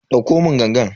Dauko mun gangan.